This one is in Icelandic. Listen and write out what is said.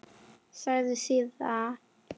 Sagði síðan